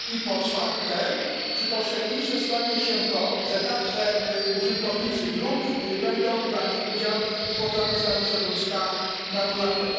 I po czwarte czy powszechniejsze stanie się to, że także użytkownicy dróg będą brali udział w poprawie stanu środowiska naturalnego?